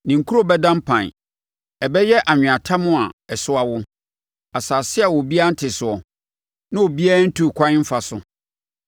Ne nkuro bɛda mpan. Ɛbɛyɛ anweatam a ɛso awo, asase a obiara nte soɔ, na obiara nntu ɛkwan mfa so.